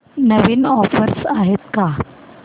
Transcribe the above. नवीन offers आहेत का